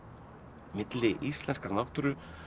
milli íslenskrar náttúru